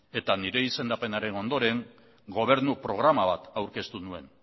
eta nire izendapenaren ondoren gobernu programa bat aurkeztu nuen